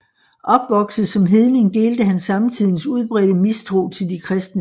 Opvokset som hedning delte han samtidens udbredte mistro til de kristne